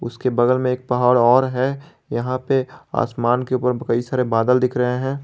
उसके बगल में एक पहाड़ और है यहां पे आसमान के ऊपर कई सारे बदल दिख रहे हैं।